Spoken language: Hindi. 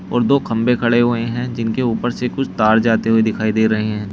और दो खंबे खड़े हुए हैं जिनके ऊपर से कुछ तार जाते हुए दिखाई दे रहे हैं।